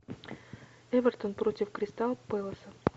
эвертон против кристал пэласа